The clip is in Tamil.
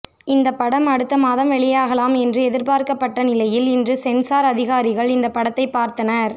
இந்த படம் அடுத்த மாதம் வெளியாகலாம் என்று எதிர்பார்க்கப்பட்ட நிலையில் இன்று சென்சார் அதிகாரிகள் இந்த படத்தை பார்த்தனர்